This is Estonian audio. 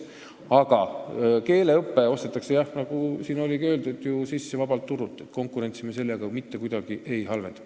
Aga keeleõpe ostetakse sisse, nagu siin ka öeldud sai, vabalt turult – konkurentsi me sellega mitte kuidagi ei halvenda.